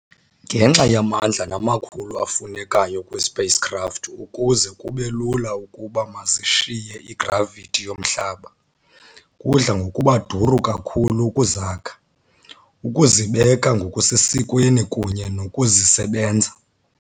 Ngenxa yamandla namakhulu afunekayo kwii-Spacecraft ukuze kube lula ukuba mazishiye i-gravithi yomhlaba, kudla ngokuba duru kakhulu ukuzakha, ukuzibeka ngokusesikweni, kunye nokuzisebenza.